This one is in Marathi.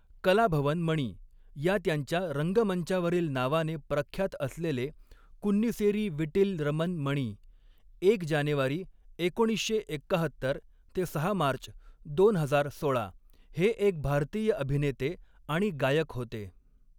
कलाभवन मणि या त्यांच्या रंगमंचावरील नावाने प्रख्यात असलेले कुन्निसेरी वीटिल रमन मणि एक जानेवारी एकोणीसशे एक्काहत्तर ते सहा मार्च दोन हजार सोळा हे एक भारतीय अभिनेते आणि गायक होते.